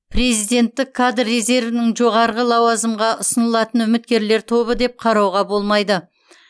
президенттік кадр резервін жоғары лауазымға ұсынылатын үміткерлер тобы деп қарауға болмайды